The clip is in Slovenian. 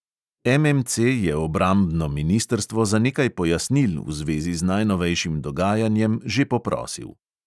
MMC je obrambno ministrstvo za nekaj pojasnil v zvezi z najnovejšim dogajanjem že poprosil.